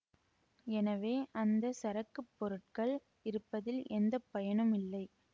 எனவே அந்த சரக்குப் பொருட்கள் இருப்பதில் எந்த பயனும் இல்லை